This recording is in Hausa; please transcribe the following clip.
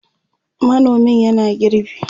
manomin yana girbi